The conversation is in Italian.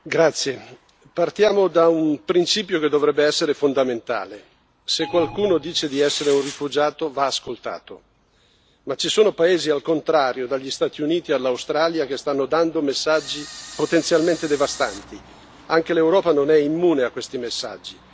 Signora Presidente, onorevoli colleghi, partiamo da un principio che dovrebbe essere fondamentale se qualcuno dice di essere un rifugiato va ascoltato. Ma ci sono paesi, al contrario, dagli Stati Uniti all'Australia, che stanno dando messaggi potenzialmente devastanti. Anche l'Europa non è immune a questi messaggi.